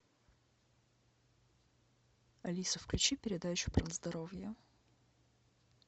алиса включи передачу про здоровье